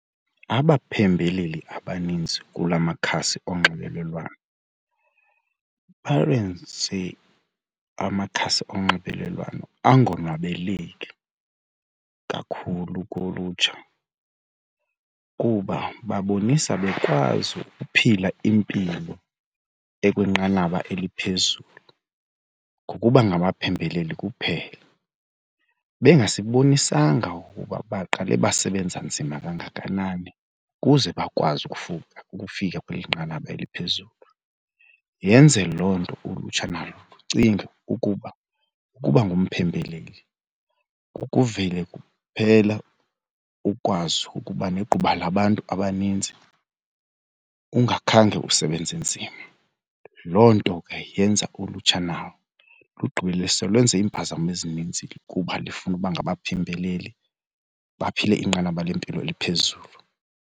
Abaphembeleli abaninzi kula makhasi onxibelelwano amakhasi onxibelelwano angawonwabeleki kakhulu kulutsha kuba babonisa bekwazi ukuphila impilo ekwinqanaba eliphezulu ngokuba ngabaphembeleli kuphela. Bengasibonisanga ukuba baqale basebenza nzima kangakanani ukuze bakwazi ukufika kweli nqanaba eliphezulu. Yenze loo nto ulutsha nalo lucinge ukuba ukuba ngumphembeleli kukuvele kuphela ukwazi ukuba negquba labantu abaninzi ungakhange usebenze nzima. Loo nto ke yenza ulutsha nalo lugqibele selusenza iimpazamo ezininzi kuba lifuna ukuba ngabaphembeleli baphile inqanaba lempilo eliphezulu.